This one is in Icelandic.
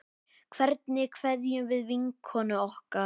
Hvernig kveðjum við vinkonu okkar?